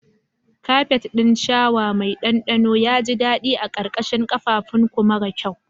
Kafet ɗin shawa mai ɗanɗano ya ji daɗi a ƙarƙashin ƙafãfunku mara kyau.